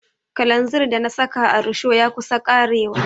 Kalanzir da na saka a risho ya kusa ƙarewa.